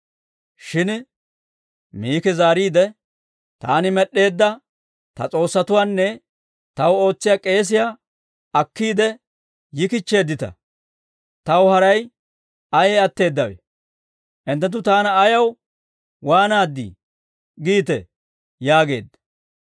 Shin Miki zaariide, «Taani med'd'eedda ta s'oossatuwaanne taw ootsiyaa k'eesiyaa akkiide yikichcheeddita. Taw haray ayee atteedawe? Hinttenttu taana ayaw, ‹Waanaaddii?› giitee?» yaageedda.